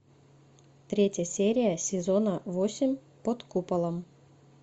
третья серия сезона восемь под куполом